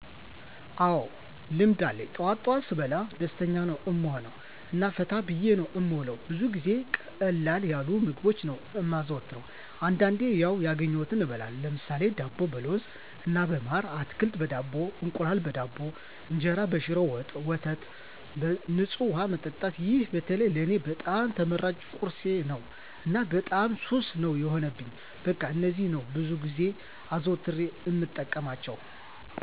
አዎ ልምድ አለኝ ጠዋት ጠዋት ስበላ ደስተኛ ነዉ እምሆነዉ እና ፈታ ብየ ነዉ እምዉለዉ። ብዙ ጊዜ ቀለል ያሉ ምግቦችን ነዉ እማዘወትር አንዳንዴም ያዉ ያገኘዉትን እበላለሁ ለምሳሌ፦ ዳቦ በለዉዝ እና በማር፣ አትክልት በዳቦ፣ እንቁላል በዳቦ፣ እንጀራ በሽሮ ወጥ፣ ወተት በፅዋ መጠጣት ይሄ በተለይ ለኔ በጣም ተመራጭ ቁርሴ ነዉ እና በጣም ሱስ ነዉ የሆነብኝ በቃ እነዚህን ነዉ ብዙ ጊዜ አዘዉትሬ እምጠቀማቸዉ።